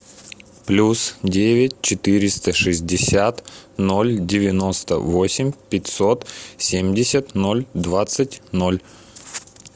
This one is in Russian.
плюс девять четыреста шестьдесят ноль девяносто восемь пятьсот семьдесят ноль двадцать ноль